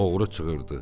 Oğru çığırdı: